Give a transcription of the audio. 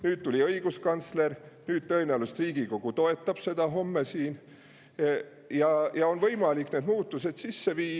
Homme tuleb õiguskantsler, tõenäoliselt Riigikogu toetab ja siis on võimalik need muudatused sisse viia.